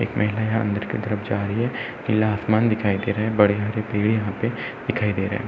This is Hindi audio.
एक महिला यहाँ अंदर की तरफ जा रही है। नीला आसमान दिखाई दे रहा है। बड़े हरे पेड़ यहां पर दिखाई दे रहे हैं।